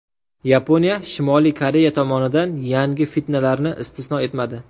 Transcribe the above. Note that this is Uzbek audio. Yaponiya Shimoliy Koreya tomonidan yangi fitnalarni istisno etmadi.